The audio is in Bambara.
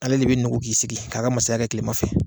Ale de bi nugu k'i sigi k'a ka mansaya kɛ tilema fɛ